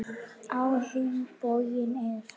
Á hinn bóginn er